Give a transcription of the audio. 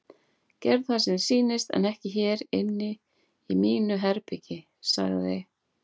Gerðu það sem þér sýnist en ekki hér inni í mínu herbergi sagði